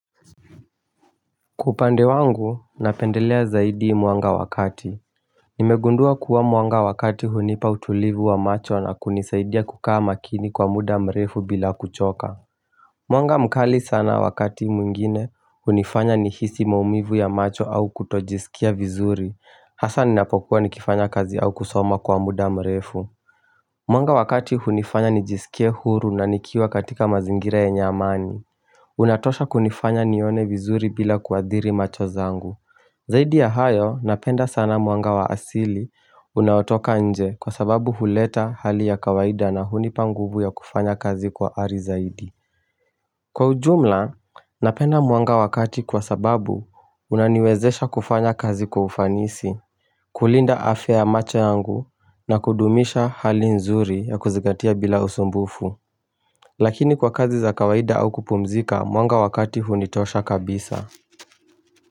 Kwa upande wangu napendelea zaidi mwanga wakati Nimegundua kuwa mwanga wakati hunipa utulivu wa macho na kunisaidia kukaa makini kwa muda mrefu bila kuchoka Mwanga mkali sana wakati mwingine hunifanya nihisi maumivu ya macho au kutojisikia vizuri hasa ninapokuwa nikifanya kazi au kusoma kwa muda mrefu Mwanga wakati hunifanya nijisikie huru na nikiwa katika mazingira yenye amani Unatosha kunifanya nione vizuri bila kuadhiri macho zangu Zaidi ya hayo napenda sana mwanga wa asili unaotoka nje kwa sababu huleta hali ya kawaida na hunipa nguvu ya kufanya kazi kwa ari zaidi Kwa ujumla napenda mwanga wakati kwa sababu unaniwezesha kufanya kazi kwa ufanisi kulinda afya macho yangu na kudumisha hali nzuri ya kuzigatia bila usumbufu Lakini kwa kazi za kawaida au kupumzika, mwanga wakati hunitosha kabisa.